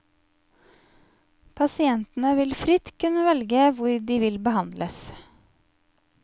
Pasientene vil fritt kunne velge hvor de vil behandles.